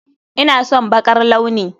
Ina son baƙar launi